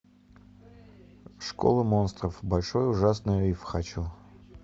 школа монстров большой ужасный риф хочу